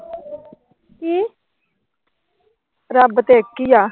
ਰੱਬ ਤਾਂ ਇੱਥੇ ਈ ਆ।